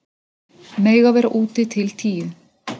Mega vera úti til tíu